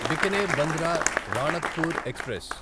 Bikaner Bandra Ranakpur express